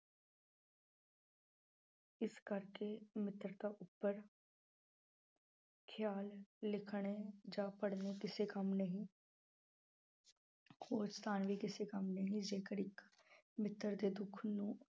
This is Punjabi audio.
ਇਸ ਕਰਕੇ ਮਿੱਤਰਤਾ ਉੱਪਰ ਖਿਆਲ ਲਿਖਣੇ ਜਾਂ ਪੜ੍ਹਨੇ ਕਿਸੇ ਕੰਮ ਨਹੀਂ ਉਹ ਸਥਾਨ ਵੀ ਕਿਸੇ ਕੰਮ ਨਹੀਂ ਜੇਕਰ ਇੱਕ ਮਿੱਤਰ ਦੇ ਦੁੱਖ ਨੂੰ